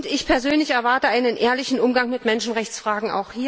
Ich persönlich erwarte auch hier einen ehrlichen Umgang mit Menschenrechtsfragen.